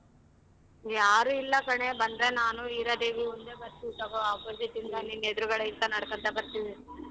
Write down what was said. ಯಾರು ಇಲ್ಲ ಕಣೆ ಬಂದ್ರೆ ನಾನು ಹೀರಾದೇವಿ ಒಂದೆ ಬರ್ತೀವಿ ತಗೋ opposite ಇಂದ ನಿನ್ ಎದ್ರುಗಡೆಯಿಂದ ನಡ್ಕಣ್ತಾ ಬರ್ತೀವಿ.